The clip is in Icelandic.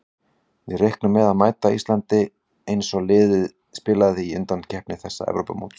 Við reiknum með að mæta Íslandi eins og liðið spilaði í undankeppni þessa Evrópumóts.